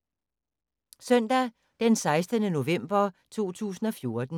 Søndag d. 16. november 2014